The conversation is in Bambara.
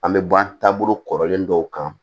An bɛ ban taabolo kɔrɔlen dɔw kan